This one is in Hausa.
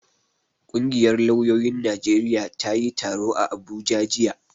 Ƙungiyar lauyoyin Najeriya ta yi taro a Abuja jiya.